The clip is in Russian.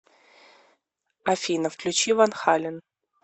афина включи ван хален